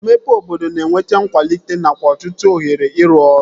Mmepe obodo na-eweta nkwalite nakwa ọtụtụ ohere ịrụ ọrụ